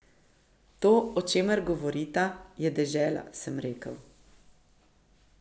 To, o čemer govorita, je dežela, sem rekel.